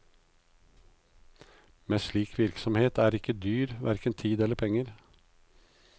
Men slik virksomhet er ikke dyr, hverken i tid eller penger.